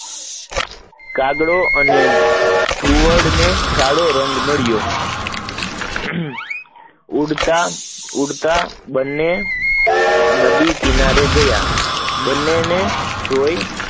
કાગડા અને ઘુવડ ને કાળો રંગ મળ્યો, ઉડતા ઉડતા બને અહીં કિનારે ગયા, બને ને જોઈ